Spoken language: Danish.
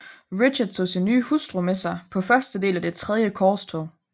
Richard tog sin nye hustru med sig på første del af Det tredje korstog